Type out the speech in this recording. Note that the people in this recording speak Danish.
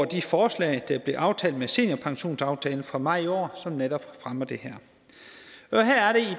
de forslag der blev aftalt med seniorpensionsaftalen fra maj i år som netop fremmer det her